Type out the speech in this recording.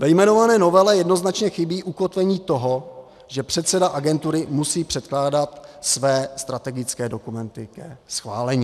Ve jmenované novele jednoznačně chybí ukotvení toho, že předseda agentury musí předkládat své strategické dokumenty ke schválení.